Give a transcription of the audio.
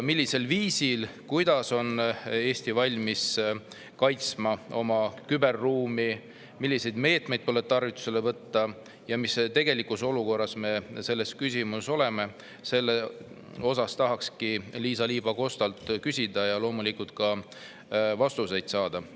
Millisel viisil on Eesti valmis kaitsma oma küberruumi, milliseid meetmeid tarvitusele võtma ja mis olukorras me selles küsimuses tegelikult oleme, selle kohta tahakski Liisa-Ly Pakostalt küsida ja loomulikult ka vastuseid saada.